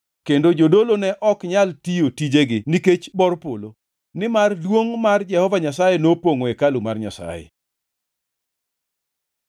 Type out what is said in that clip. kendo jodolo ne ok nyal tiyo tijegi nikech bor polo, nimar duongʼ mar Jehova Nyasaye nopongʼo hekalu mar Nyasaye.